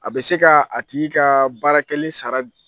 A bɛ se ka a tigi ka baarakɛlen sara di.